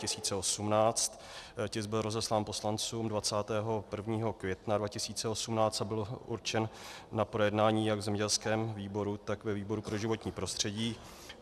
Tisk byl rozeslán poslancům 21. května 2018 a byl určen na projednání jak v zemědělském výboru, tak ve výboru pro životní prostředí.